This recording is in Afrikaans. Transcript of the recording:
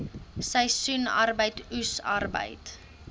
seisoensarbeid oes arbeid